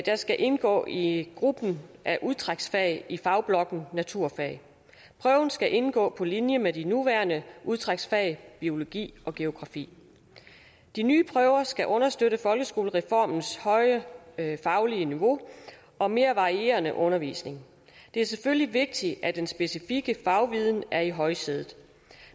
skal indgå i gruppen af udtræksfag i fagblokken naturfag prøven skal indgå på linje med de nuværende udtræksfag biologi og geografi de nye prøver skal understøtte folkeskolereformens høje faglige niveau og mere varierende undervisning det er selvfølgelig vigtigt at den specifikke fagviden er i højsædet